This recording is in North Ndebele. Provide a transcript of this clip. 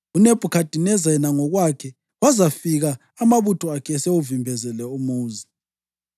uNebhukhadineza yena ngokwakhe wazafika amabutho akhe esewuvimbezele umuzi.